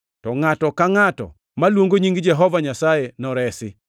To ngʼato ka ngʼato maluongo nying Jehova Nyasaye noresi!’ + 2:21 \+xt Joe 2:28-32\+xt*”